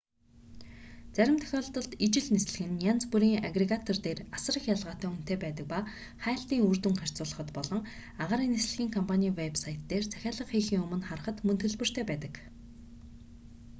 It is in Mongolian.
зарим тохиолдолд ижил нислэг нь янз бүрийн агрегатор дээр асар их ялгаатай үнэтэй байдаг ба хайлтын үр дүнг харьцуулахад болон агаарын нислэгийн компаний вэб сайт дээр нь захиалга хийхийн өмнө харахад мөн төлбөртэй байдаг